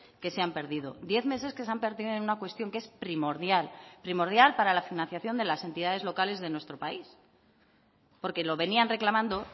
que se han perdido diez meses que se han perdido en una cuestión que es primordial primordial para la financiación de las entidades locales de nuestro país porque lo venían reclamando